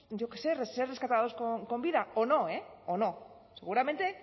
yo qué sé ser rescatados con vida o no eh o no seguramente